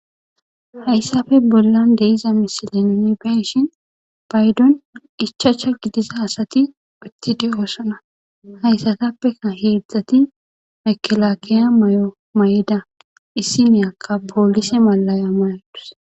hayssafe bollan de'iza misile nunei be'ishin paydon ichacha gidiza asati uttidi oossana hayssatappea heedzdzati mekelaakiya mayo mayda issi meyakka poolise malaya mayadus